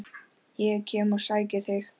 Ég kem og sæki þig!